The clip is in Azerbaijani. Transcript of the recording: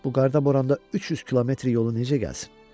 Bu qarda-boranda 300 kilometr yolu necə gəlsin?